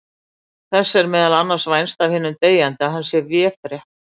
Þess er meðal annars vænst af hinum deyjandi að hann sé véfrétt.